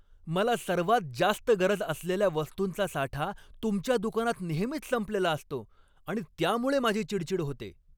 मला सर्वात जास्त गरज असलेल्या वस्तूंचा साठा तुमच्या दुकानात नेहमीच संपलेला असतो आणि त्यामुळे माझी चिडचिड होते.